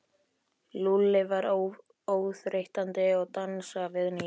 Lúlli var óþreytandi að dansa við Nínu.